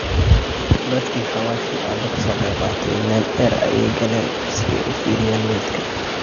Dadki hawashi aba kasoqeybqate lane deer aya kalen si ay uufiriyan maedki.